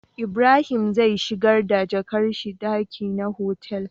Ibrahim zai shigar da jakar shi daki na otal